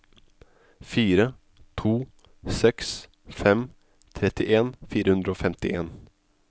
fire to seks fem trettien fire hundre og femtien